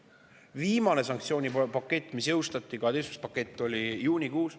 Viimane, 12. sanktsioonipakett jõustati juunikuus.